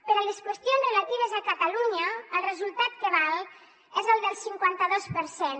per a les qüestions relatives a catalunya el resultat que val és el del cinquanta dos per cent